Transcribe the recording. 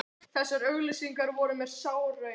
Þessar auglýsingar voru mér sár raun.